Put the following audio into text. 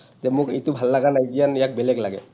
যে মোক এইটো ভাল লাগা নাইকিয়া, ইয়াক বেলেগ লাগে।